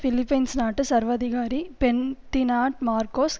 Philippines நாட்டு சர்வாதிகாரி Ferdinand Marcos